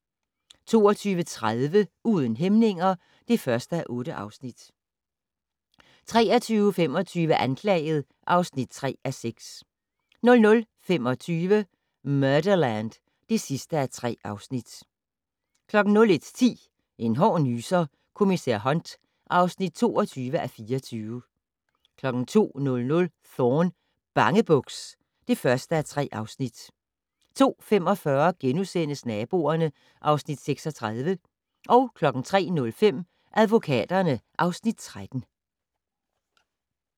22:30: Uden hæmninger (1:8) 23:25: Anklaget (3:6) 00:25: Murderland (3:3) 01:10: En hård nyser: Kommissær Hunt (22:24) 02:00: Thorne: Bangebuks (1:3) 02:45: Naboerne (Afs. 36)* 03:05: Advokaterne (Afs. 13)